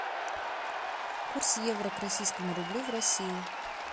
курс евро к российскому рублю в россии